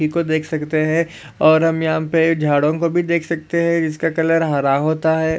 नदी को देख सकते है और हम यहा पे झाड़ों को भी देख सकते है जिसका कलर हरा होता है।